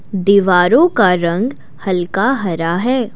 दीवारो का रंग हल्का हरा है।